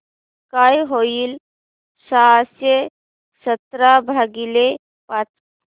काय होईल सहाशे सतरा भागीले पाच